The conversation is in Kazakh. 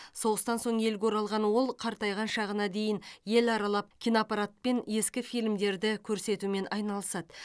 соғыстан соң елге оралған ол қартайған шағына дейін ел аралап киноаппаратпен ескі фильмдерді көрсетумен айналысады